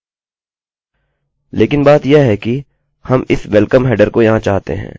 लेकिन बात यह है कि हम इस वेल्कमwelcome हेडरheader को यहाँ चाहते हैं